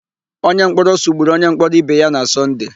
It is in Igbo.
Onyemkpọrọ sụgburu onyemkpọrọ ibe ya na Sọnde.